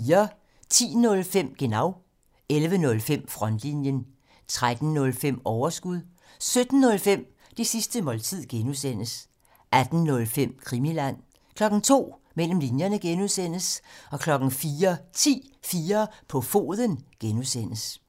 10:05: Genau 11:05: Frontlinjen 13:05: Overskud 17:05: Det sidste måltid (G) 18:05: Krimiland 02:00: Mellem linjerne (G) 04:10: 4 på foden (G)